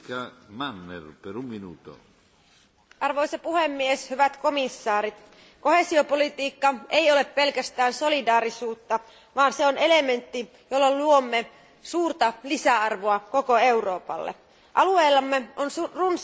Arvoisa puhemies, arvoisat komission jäsenet, koheesiopolitiikka ei ole pelkästään solidaarisuutta, vaan se on elementti, jolla luomme suurta lisäarvoa koko Euroopalle. Alueellamme on runsaasti osaamista ja myös mm.